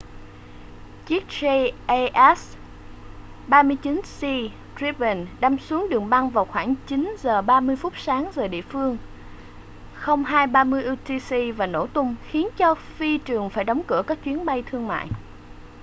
chiếc jas 39c gripen đâm xuống đường băng vào khoảng 9:30 sáng giờ địa phương 0230 utc và nổ tung khiến cho phi trường phải đóng cửa các chuyến bay thương mại